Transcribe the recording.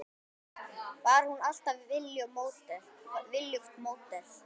Var hún alltaf viljugt módel?